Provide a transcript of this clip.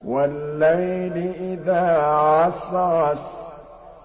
وَاللَّيْلِ إِذَا عَسْعَسَ